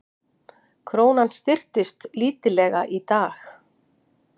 Krónan styrktist lítillega í dag